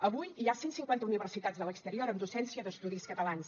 avui hi ha cent cinquanta universitats de l’exterior amb docència d’estudis catalans